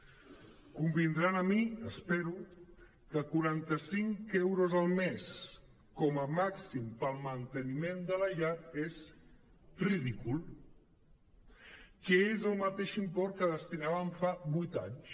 convindran amb mi espero que quaranta·cinc euros al mes com a màxim per al manteniment de la llar és ridícul que és el mateix import que hi destinàvem fa vuit anys